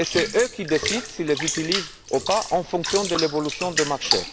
Ce sont eux qui décident s'ils les utilisent ou pas en fonction de l'évolution du marché.